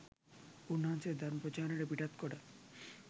උන්වහන්සේ ධර්ම ප්‍රචාරයට පිටත්කොට